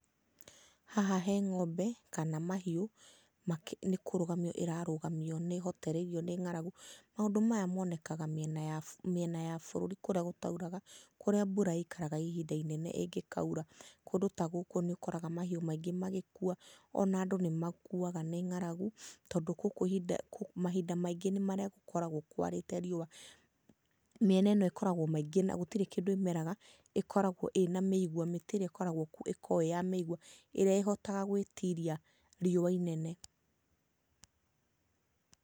Haha he ng'ombe kana mahiũ nĩkũrũgamio ĩrarũgamio nĩ hotereirio nĩ ng'aragu, maũndũ maya monekaga mĩena ya bũrũri kũrĩa gũtauraga. Kũrĩa mbura ikaraga ihinda inene ĩngĩkaura, kũndũ ta gũkũ nĩũkoraga mahiũ maingĩ magĩkua ona andũ nĩ makuaga nĩ ng'aragu, tondũ gũkũ mahinda maingĩ nĩ marĩa gũkoragwo kwa rĩte riũa. Mĩena ĩno ĩkoragwo maingĩ, na gũtirĩ kĩndũ ĩmera ĩkoragwo ĩna mĩigua, mĩtĩ ĩrĩa ĩkoragwo kuo ĩya mĩigua, ĩrĩa ĩhotaga gwĩtiria riũa inene.